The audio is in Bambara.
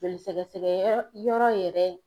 Joli sɛgɛsɛgɛ yɔrɔ yɛrɛ.